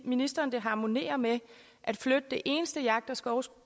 ministeren det harmonerer med at flytte det eneste jagt og